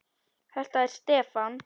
Þetta er Stefán.